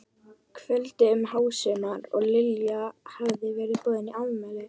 kvöldi um hásumar og Lilja hafði verið boðin í afmæli.